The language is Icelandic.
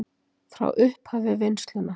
Frá upphafi vinnslunnar